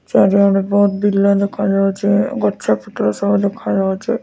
ଚାରି ଆଡେ ବହୁତ ବିଲ ଦେଖା ଯାଉଛି। ଗଛ ପତ୍ର ସବୁ ଦେଖାଯାଉଛି।